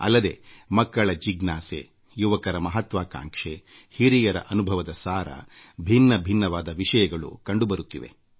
ನಾನು ಮಕ್ಕಳ ಜಿಜ್ಞಾಸೆ ಯುವಕರ ಮಹತ್ವಾಕಾಂಕ್ಷೆ ಹಿರಿಯರ ಅನುಭವದ ಸಾರ ಹೀಗೆ ವಿಭಿನ್ನವಾದ ವಿಷಯಗಳು ಹೊರಹೊಮ್ಮುತ್ತವೆ